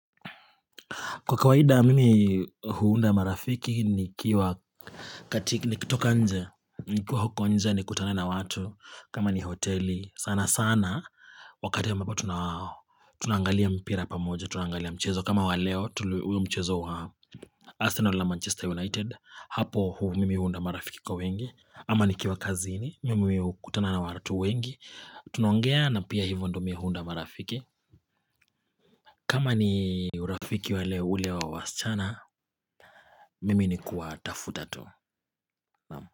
Kwa kawaida mimi huunda marafiki nikiwa katika, nikitoka nje, nikuwa huko nje, nikutane na watu, kama ni hoteli, sana sana, wakati ambapo tuna tunaangalia mpira pamoja, tunaangalia mchezo, kama wa leo, huo mchezo wa Arsenal na Manchester United, hapo mimi huunda marafiki kwa wingi, ama nikiwa kazini, mimi hukutana na watu wengi, tunaongea na pia hivyo ndiyo mimi huunda marafiki. Kama ni urafiki wale ule wa waschana, mimi ni kuwatafuta tu.